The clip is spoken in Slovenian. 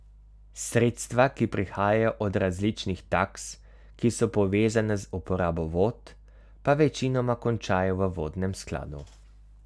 Sredstva, ki prihajajo od različnih taks, ki so povezane z uporabo vod, pa večinoma končajo v vodnem skladu.